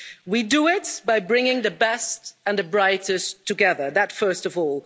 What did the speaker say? We do it by bringing the best and the brightest together that first of all.